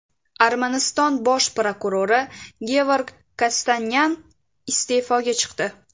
Armaniston bosh prokurori Gevorg Kostanyan iste’foga chiqdi.